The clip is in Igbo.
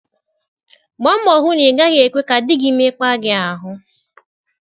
Gbaa mbọ hụ na ị gaghị ekwe ka di gị mekpaa gị ahụ.